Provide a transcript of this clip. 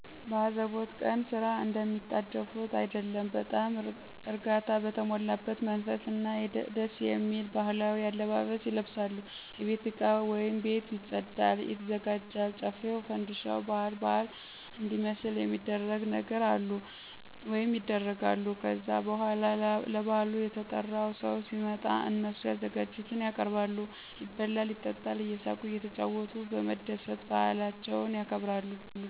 በአዘቦት ቀን ስራ እንደሚጣደፉት አይደለም በጣም እርጋታ በተሞላበት መንፈስ እና ደስየሚል ባህላዊ አለባበስ ይለብሳሉ የቤት እቃ ቤት ይፀዳል/ይዘጋጃል ጮፌው ፋንድሻው ባአል ባአል እንዲመስል ሚደረግ ነገር ሁሉ ይደረጋል። ከዛ በኋላ ለብአሉ የተጠራው ሰው ሲመጣ እነሱም ያዘጋጁትን ያቀርባሉ ይበላል ይጠጣል እየሳቁ እየተጫወቱ በመደሰት ባአላቸውን ያከብራሉ።